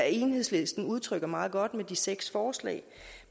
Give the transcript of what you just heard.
enhedslisten udtrykker meget godt med de seks forslag